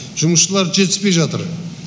жұмысшылар жетіспей жатыр